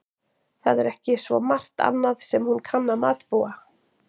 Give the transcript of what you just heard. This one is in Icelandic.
Það er ekki svo margt annað sem hún kann að matbúa.